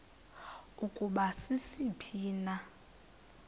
ukuba sisiphi na